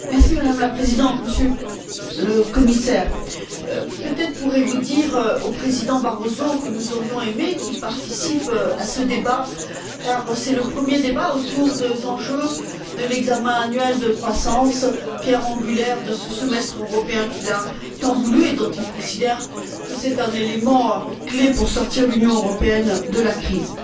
Madame la Présidente, Monsieur le Commissaire, peut être pourrez vous dire au président Barroso que nous aurions aimé qu'il participe à ce débat car c'est le premier débat autour des enjeux de l'examen annuel de croissance, pierre angulaire de ce semestre européen qu'il a tant voulu et dont il considère que c'est un élément clé pour sortir l'Union européenne de la crise.